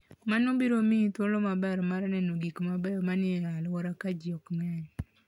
Mano biro miyi thuolo maber mar neno gik mabeyo ma ni e alworano ka ji ok ng'eny.